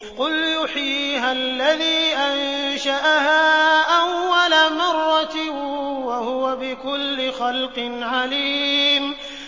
قُلْ يُحْيِيهَا الَّذِي أَنشَأَهَا أَوَّلَ مَرَّةٍ ۖ وَهُوَ بِكُلِّ خَلْقٍ عَلِيمٌ